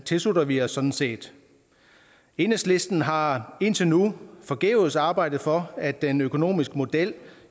tilslutter vi os sådan set enhedslisten har indtil nu forgæves arbejdet for at den økonomiske model